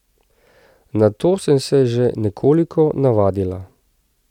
Na to sem se že nekoliko navadila.